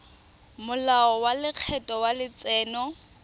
molao wa lekgetho wa letseno